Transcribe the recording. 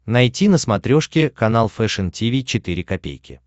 найти на смотрешке канал фэшн ти ви четыре ка